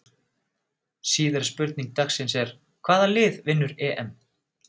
Síðari spurning dagsins er: Hvaða lið vinnur EM?